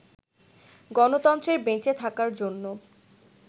গণতন্ত্রের বেঁচে থাকার জন্য